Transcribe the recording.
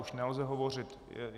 Už nelze hovořit.